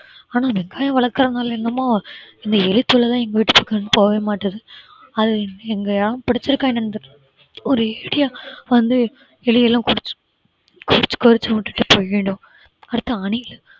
ஆனா வெங்காயம் வளர்க்கறதுனால என்னமோ இந்த எலிதொல்லை தான் எங்க வீட்ல போகவே மாட்டேங்குது அது இனிமே இங்க ஏன் பிடிச்சிருக்கா என்னன்னு தெரியல ஒரேடியா வந்து எலியெல்லாம் கொறிச்சி~ கொறிச்சு கொறிச்சு விட்டுட்டு போயிடும் அடுத்து அணிலு